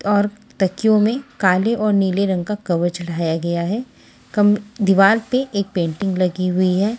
और तकियों में काले और नीले रंग का कवर चढ़ाया गया है कम दीवाल पे एक पेंटिंग लगी हुई है।